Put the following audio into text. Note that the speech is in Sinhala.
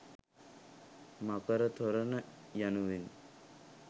මකර තොරණ යනුවෙනි.